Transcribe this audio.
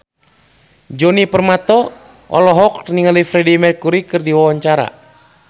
Djoni Permato olohok ningali Freedie Mercury keur diwawancara